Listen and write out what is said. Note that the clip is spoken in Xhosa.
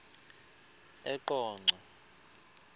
eqonco